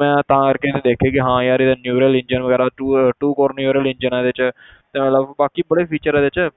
ਮੈਂ ਤਾਂ ਕਰਕੇ ਮੈਂ ਦੇਖਿਆ ਕਿ ਹਾਂ ਯਾਰ ਇਹਦਾ neural engine ਵਗ਼ੈਰਾ two two core neural engine ਆ ਇਹਦੇ 'ਚ ਤੇ ਮਤਲਬ ਬਾਕੀ ਬੜੇ feature ਆ ਇਹਦੇ 'ਚ